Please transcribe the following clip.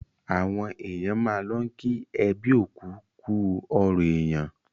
Àwọn èèyàn máà n lọ kí ẹbí òkú kú ọrọ̀ èèyàn